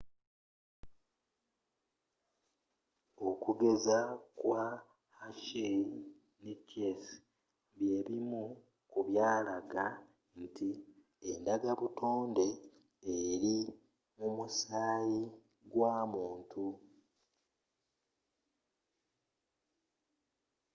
okugezesa kwa hershey ne chase byebimu ku byalaga nti endagabutonde eri mu musaayi gwa muntu